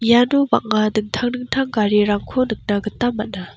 iano bang·a dingtang dingtang garirangko nikna gita man·a.